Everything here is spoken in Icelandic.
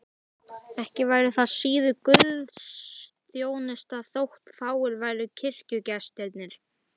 Ekki væri það síður guðsþjónusta þótt fáir væru kirkjugestirnir.